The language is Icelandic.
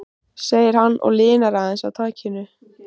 segir hann og linar aðeins á takinu.